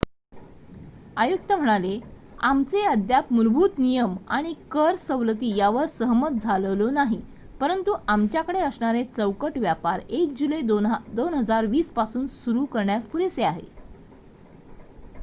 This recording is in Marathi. आयुक्त म्हणाले आमचे अद्याप मुलभूत नियम आणि कर सवलती यावर सहमत झालेलो नाही परंतु आमच्याकडे असणारे चौकट व्यापार 1 जुलै 2020 पासून सुरु करण्यास पुरेसे आहे